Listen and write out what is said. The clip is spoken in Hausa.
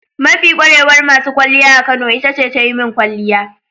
Mafi kwarewar masu kwalliya a Kano ita ce ta yi min kwalliya.